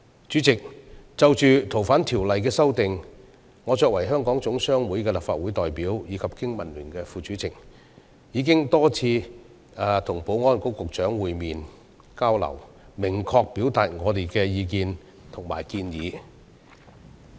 主席，就《逃犯條例》的修訂，我作為香港總商會的立法會代表及經民聯副主席，已多次與保安局局長會面、交流，明確表達我們的意見及建議。